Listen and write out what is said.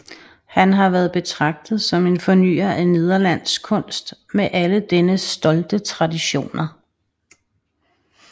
Han har været betragtet som en fornyer af nederlandsk kunst med alle dennes stolte traditioner